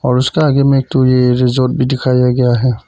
और उसका आगे में एक तू ये रिजॉर्ट भी दिखाया गया है।